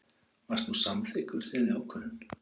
Varst þú samþykkur þeirri ákvörðun?